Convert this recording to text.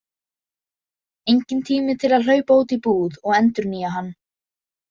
Enginn tími til að hlaupa út í búð og endurnýja hann.